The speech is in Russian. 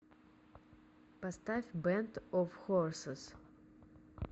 поставь бэнд оф хорсес